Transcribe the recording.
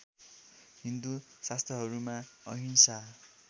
हिन्दू शास्त्रहरूमा अहिंसा